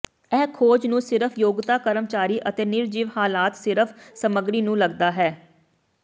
ਇਹ ਖੋਜ ਨੂੰ ਸਿਰਫ਼ ਯੋਗਤਾ ਕਰਮਚਾਰੀ ਅਤੇ ਨਿਰਜੀਵ ਹਾਲਾਤ ਸਿਰਫ ਲਈ ਸਮੱਗਰੀ ਨੂੰ ਲੱਗਦਾ ਹੈ